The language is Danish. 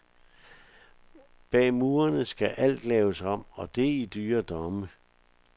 Bag murene skal alt laves om og det i dyre domme.